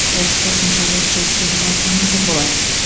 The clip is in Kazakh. ол қосымша жұртшылықпен талқыланатын болады